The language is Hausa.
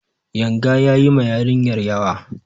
Yanga ya yi ma yarinyar yawa.